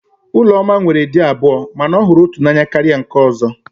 Ụlọma nwere di abụọ mana ọ hụrụ otu n'anya karịa nke ọ̀zọ́.